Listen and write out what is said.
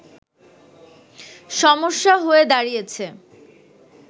সমস্যা হয়ে দাঁড়িয়েছে